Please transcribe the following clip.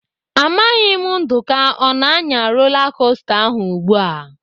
Amaghị m Nduka ọ na-anya rola kosta ahụ ugbu a.